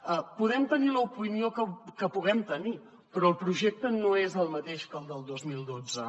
en podem tenir l’opinió que en puguem tenir però el projecte no és el mateix que el del dos mil dotze